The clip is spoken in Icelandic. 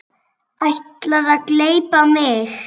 Ætlarðu að gleypa mig!